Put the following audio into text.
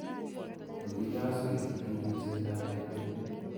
kokiloswech eng ripsetab ketik